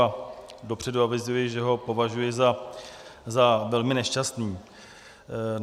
A dopředu avizuji, že ho považuji za velmi nešťastný.